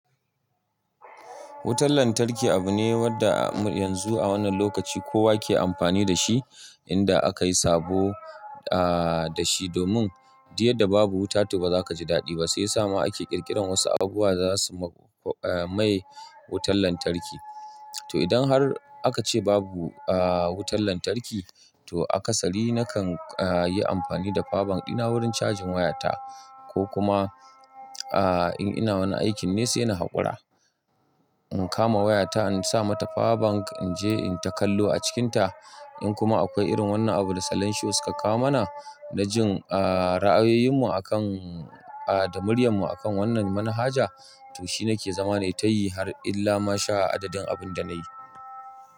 Wutan lantarki abu ne wanda yanzu a wannan lokaci kowa ke amfani da shi. Inda aka yi sabo da shi, domin diyar da babu wuta ta ba za ka ji daɗi ba. Sai ya sa ma ake ƙirƙiran wasu abubuwa za su mai wutan lantarki. To idan har aka ce babu wutan lantarki, to a kasari na kan yi amfani da powar bank dina ɗina wurin cajin wayata ko kuma in ina wani aikin ne sai na haƙura. In kama wayata, in sa mata powar bank, in je in takallo a cikinta. In kuma akwai irin wannan abun da Salishius ka kawo mana na jin ra'ayoyinmu akan da muryarmu akan wannan manhaja, to shi na ke zama ne tayi har illa ma sha adadin abun da na yi.